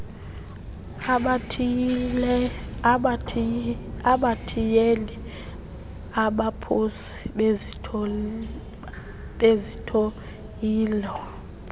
abathiyeli abaphosi bezithiyelo